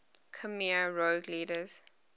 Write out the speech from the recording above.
khmer rouge leaders